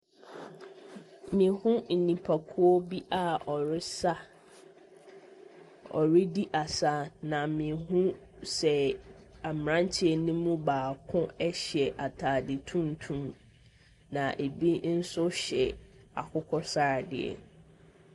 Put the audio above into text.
Mehunu nnipakuo bi a wɔresa, wɔredi asa, na mehunu sɛ mmeranteɛ no mubaako hyɛ ataadeɛ tuntum, na ɛbi nso hyɛ akokɔsradeɛ.